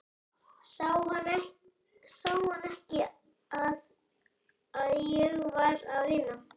Sá hann ekki að ég var að vinna?